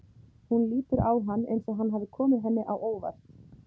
Hún lítur á hann eins og hann hafi komið henni á óvart.